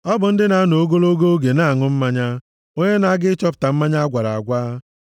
Ọ bụ ndị na-anọ ogologo oge na-aṅụ mmanya, onye na-aga ịchọpụta mmanya agwara agwa.